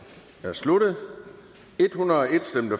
er sluttet